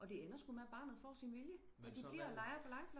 Og det ender sku med barnet får sin vilje og de bliver og leger på legepladsen